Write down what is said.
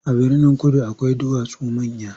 A Birnin-kudu akwai duwatsu manya.